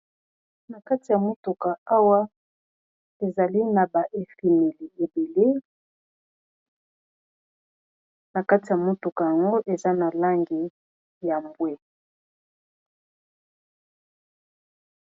Na kati ya motuka awa ezali na ba efimeli ebele na kati ya motuka yango eza na langi ya mbwe.